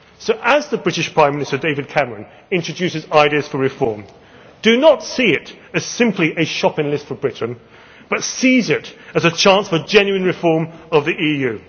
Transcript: change. So as the British Prime Minister David Cameron introduces ideas for reform, do not see it as simply a shopping list for Britain, but seize it as a chance for genuine reform of